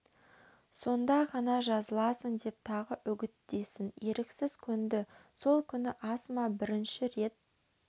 сонда ғана жазыласың деп тағы үгіттесін еріксіз көнді сол күні асма бірінші рет